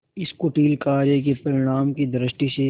इस कुटिल कार्य के परिणाम की दृष्टि से